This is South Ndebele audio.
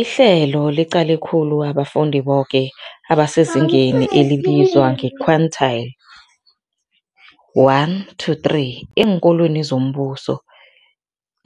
Ihlelo liqale khulu abafundi boke abasezingeni elibizwa nge-quintile 1-3 eenkolweni zombuso,